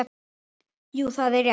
Jú, það er rétt.